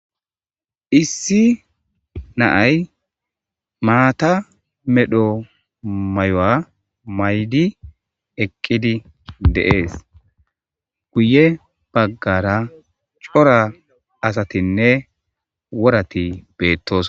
Issi naay maata medho may'oa maydi eqqidi deees guye baggara cora asatinne worati beettos.